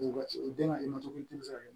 U den ka